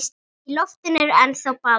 Í loftinu er ennþá ball.